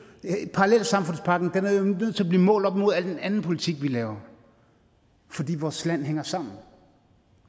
parallelsamfundspakken er jo nødt til at blive målt op mod al den anden politik vi laver fordi vores land hænger sammen